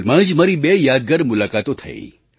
હાલમાં જ મારી બે યાદગાર મુલાકાતો થઈ